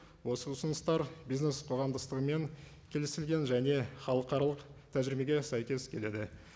осы ұсыныстар бизнес қоғамдастығымен келісілген және халықаралық тәжірибеге сәйкес келеді